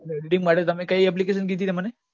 editing માટે તમે કઈ application કીધી તમે મને